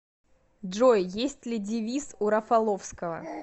джой есть ли девиз у рафаловского